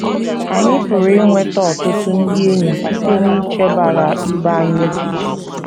Anyị pụrụ inweta ọtụtụ ndị enyi site n’ichebara ibe anyị echiche.